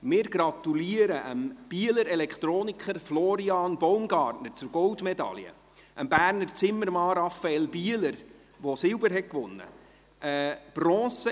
Wir gratulieren dem Bieler Elektroniker Florian Baumgartner zur Goldmedaille, dem Berner Zimmermann Rafael Bieler, der Silber gewonnen hat;